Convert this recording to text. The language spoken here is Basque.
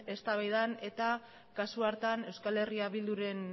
eztabaidan eta kasu hartan eh bilduren